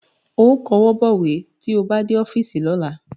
Ó kọwọ́ bọ̀wé tí ó bá dé ọ́fíìsì lọ́la